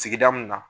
Sigida mun na